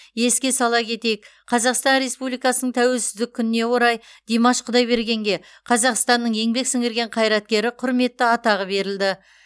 еске сала кетейік қазақстан республикасының тәуелсіздік күніне орай димаш құдайбергенге қазақстанның еңбек сіңірген қайраткері құрметті атағы берілді